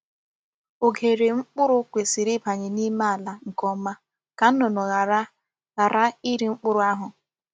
Oghere mkpụrụ kwesị̀rị̀ ịbanye n’ime àlà nke ọma, ka nnụnụ ghara ghara iri mkpụrụ ahụ